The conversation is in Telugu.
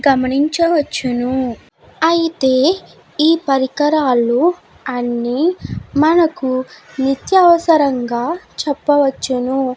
గమనించవచ్చును అయితే ఈ పరికరాలు అన్ని అమనకి నిత్యావసారంగా చెప్పవచ్చును.